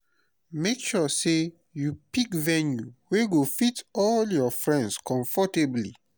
make sure say you pick venue wey go fit all your friends comfortably